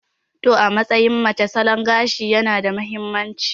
To, a matsayin mace, salon gashi yana da mahimmanci.